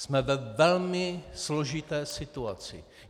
Jsme ve velmi složité situaci.